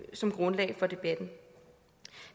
som grundlag for debatten